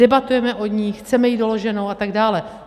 Debatujeme o ní, chceme ji doloženou a tak dále.